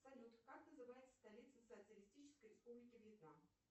салют как называется столица социалистической республики вьетнам